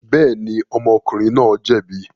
Bẹ́ẹ̀ni, ọmọkùnrin náà jẹ̀bi.